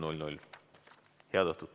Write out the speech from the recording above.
Head õhtut!